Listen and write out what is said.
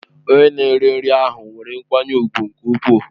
Onye na-ere nri ahụ nwere nkwanye ùgwù nke ukwuu.